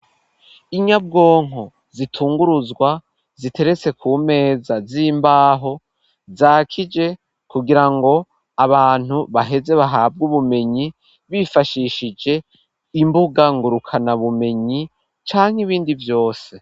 Inyabwonko zitunguruzwa ziteretse kumeza z'imbaho zakije kugira ngo abantu baheze bahabwe ubumenyi bifashishije imbuga ngurukana bumenyi canke ibindi vyose.